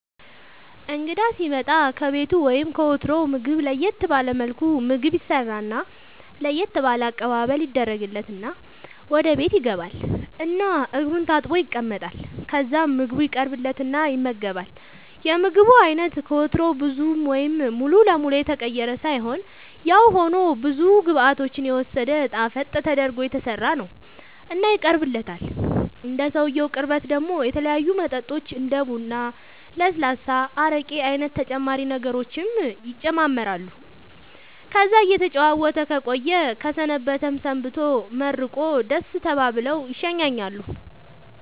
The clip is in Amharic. እንግዳ ሢመጣ ከቤቱ ወይም ከወትሮው ምግብ ለየት ባለ መልኩ ምግብ ይሰራና ለየት ባለ አቀባበል ይደረግለትና ወደ ቤት ይገባል እና እግሩን ታጥቦ ይቀመጣል ከዛ ምግቡ ይቀርብለትና ይመገባል የምግቡ አይነት ከወትሮው ብዙ ወይም ሙሉ ለመሉ የተቀየረ ሳይሆንያው ሆኖ ብዙ ግብዓቶችን የወሰደ ጣፈጥ ተደርጎ የተሠራ ነው እና ይቀርብለታል እንደ ሰውየው ቅርበት ደሞ የተለያዩ መጠጦች እንደ ቡራ ለስላሳ አረቄ አይነት ተጨማሪ ነገሮችም ይጨማመራሉ ከዛ እየተጨዋወተ ከቆየ ከሰነበተም ሰንብቶ መርቆ ደሥ ተባብለው ይሸኛኛሉ